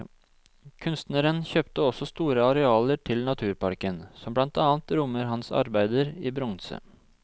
Kunstneren kjøpte også store arealer til naturparken, som blant annet rommer hans arbeider i bronse.